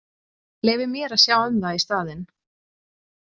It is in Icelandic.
Leyfið mér að sjá um það í staðinn.